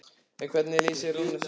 En hvernig lýsir Rúnar sjálfum sér?